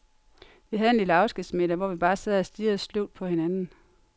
Vi havde en lille afskedsmiddag, hvor vi bare sad og stirrede sløvt på hinanden.